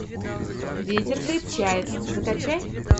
ветер крепчает закачай